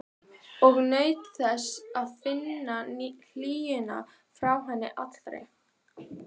Hödd Vilhjálmsdóttir: Hefur þú eitthvað heyrt í þínum umbjóðanda?